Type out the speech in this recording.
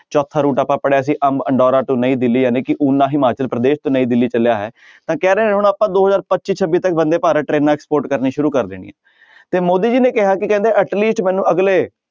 ਚੌਥਾ route ਆਪਾਂ ਪੜ੍ਹਿਆ ਸੀ ਨਈਂ ਦਿੱਲੀ ਜਾਣੀ ਕਿ ਓਨਾ ਹਿਮਾਚਲ ਪ੍ਰਦੇਸ਼ ਤੇ ਨਈਂ ਦਿੱਲੀ ਚੱਲਿਆ ਹੈ ਤਾਂ ਕਹਿ ਰਹੇ ਹੁਣ ਆਪਾਂ ਦੋ ਹਜ਼ਾਰ ਪੱਚੀ ਛੱਬੀ ਤੱਕ ਬੰਦੇ ਭਾਰਤ ਟਰੇਨਾਂ export ਕਰਨੀਆਂ ਸ਼ੁਰੂ ਕਰ ਦੇਣੀਆਂ ਤੇ ਮੋਦੀ ਜੀ ਨੇ ਕਿਹਾ ਕੀ ਕਹਿੰਦੇ ਮੈਨੂੰ ਅਗਲੇ